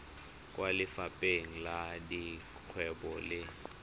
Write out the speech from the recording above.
kwa lefapheng la dikgwebo le